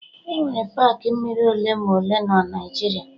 Enwere paakị mmiri ole ma ole na Naijiria